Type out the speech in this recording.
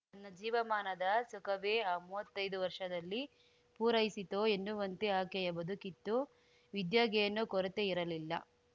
ನ್ನ ಜೀವಮಾನದ ಸುಖವೇ ಆ ಮೂವತ್ತೈದು ವರ್ಷದಲ್ಲಿ ಪೂರೈಸಿತೋ ಎನ್ನುವಂತೆ ಆಕೆಯ ಬದುಕಿತ್ತು ವಿದ್ಯೆಗೇನೂ ಕೊರೆತೆ ಇರಲಿಲ್ಲ